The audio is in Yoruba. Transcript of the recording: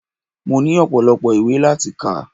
Mo ní ọpọ́lọpọ́ ìwé láti kà.